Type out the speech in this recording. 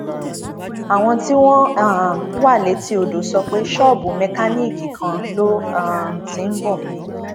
àwọn tí wọn um wà létí odò sọ pé ṣọọbù mẹkáníìkì kan ló um ti ń bọ